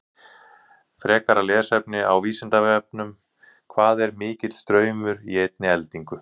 Frekara lesefni á Vísindavefnum: Hvað er mikill straumur í einni eldingu?